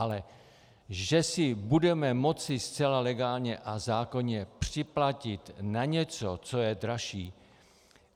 Ale že si budeme moci zcela legálně a zákonně připlatit na něco, co je dražší...